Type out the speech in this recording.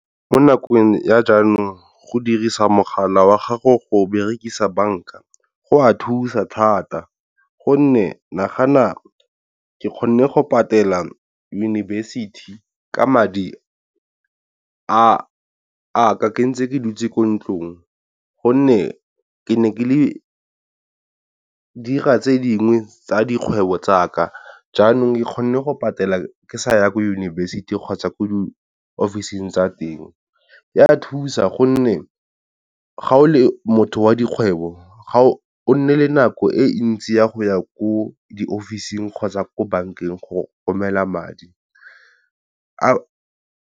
mo nakong ya jaanong go dirisa mogala wa gago go berekisa banka go a thusa thata, gonne nagana ke kgonne go patela yunibesithi ka madi a ka, ke ntse ke dutse ko ntlong. Gonne ke ne ke dira tse dingwe tsa dikgwebo tsaka jaanong ke kgone go patela ke sa ya ko yunibesiting kgotsa ko di-office-ng tsa teng. Ya thusa gonne ga o le motho wa dikgwebo ga o nne le nako e ntsi ya go ya ko di-office-ng kgotsa ko bankeng go romela madi .